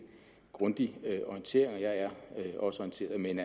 grundig orientering og jeg er også orienteret men